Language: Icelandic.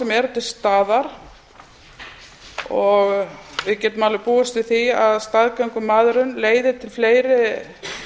sem eru til staðar og við getum alveg búist við því að staðgöngumæðrun leiði til fleiri